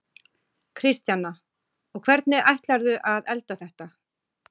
Kristjana: Og hvernig ætlarðu að elda þetta?